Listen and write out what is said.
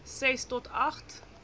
ses tot agt